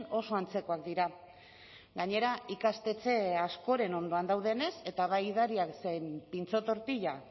oso antzekoak dira gainera ikastetxe askoren ondoan daudenez eta bai edariak zein pintxo tortila